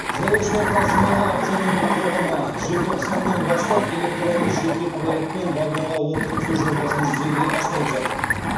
жолаушылар тасымалы акционерлік қоғамы желтоқсаннан бастап электронды жеке куәлікпен вагонға отырғызу жобасын жүзеге асырып жатыр